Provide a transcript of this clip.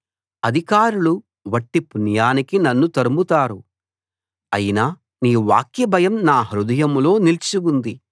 అధికారులు వట్టి పుణ్యానికి నన్ను తరుముతారు అయినా నీ వాక్యభయం నా హృదయంలో నిలిచి ఉంది